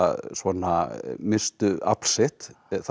svona misstu afl sitt